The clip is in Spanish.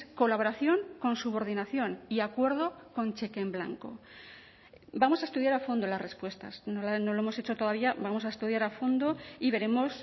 colaboración con subordinación y acuerdo con cheque en blanco vamos a estudiar a fondo las respuestas no lo hemos hecho todavía vamos a estudiar a fondo y veremos